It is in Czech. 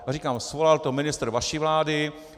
Já říkám, svolal to ministr vaší vlády.